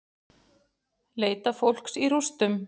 Leita fólks í rústum